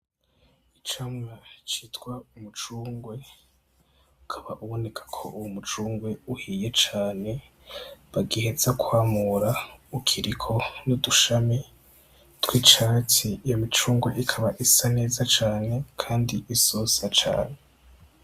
Icamwa citwa umucungwe, Ukaba uboneka ko uwo m'umucungwe uhiye cane bagiheza kwamura ukiriko n'udushami tw'icatsi, Iyo micungwe ikaba isa neza cane kandi isosa cane.